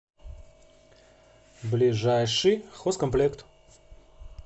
ближайший хозкомплект